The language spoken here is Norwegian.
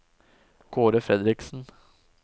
Kaare Fredriksen